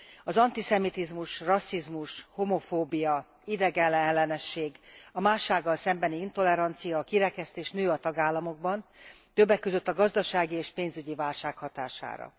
Az antiszemitizmus, rasszizmus, homofóbia, idegenellenesség, a mássággal szembeni intolerancia, a kirekesztés nő a tagállamokban, többek között a gazdasági és pénzügyi válság hatására.